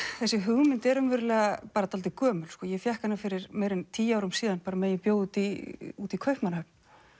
þessi hugmynd er raunverulega dálítið gömul ég fékk hana fyrir meira en tíu árum síðan á meðan ég bjó úti í úti í Kaupmannahöfn